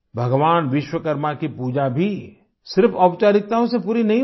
भगवान विश्वकर्मा की पूजा भी सिर्फ औपचारिकताओं से ही पूरी नहीं हुई